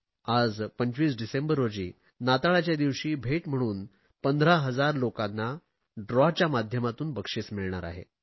आज 25 डिसेंबर रोजी नाताळाच्या दिवशी भेट म्हणून 15000 लोकांना सोडतीद्वारे बक्षिस मिळणार आहे